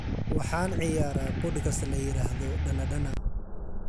Waxaan ciyaaraa podcast la yiraahdo danadana